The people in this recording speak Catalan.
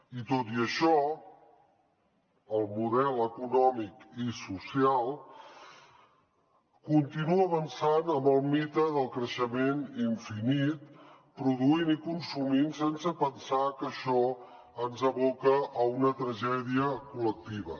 i tot i això el model econòmic i social continua avançant en el mite del creixement infinit produint i consumint sense pensar que això ens aboca a una tragèdia col·lectiva